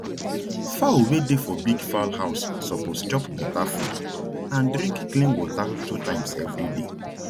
fowl wey dey for big fowl house suppose chop beta food and drink clean water two times every day